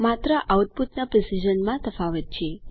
માત્ર આઉટપુટના પ્રેસીઝનમાં તફાવત છે